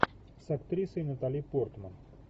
с актрисой натали портман